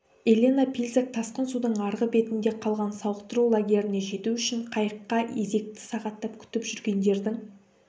елена пильзак тасқын судың арғы бетінде қалған сауықтыру лагеріне жету үшін қайыққак езекті сағаттап күтіп жүргендердің